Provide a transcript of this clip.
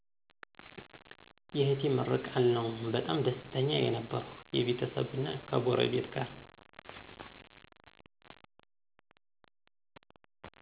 የእህቴ ምርቃል ነው በጣም ደስተኛ የነበርኩ የቤተሰብና ከጎረቤት ጋር